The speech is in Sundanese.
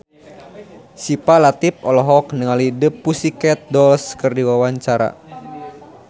Syifa Latief olohok ningali The Pussycat Dolls keur diwawancara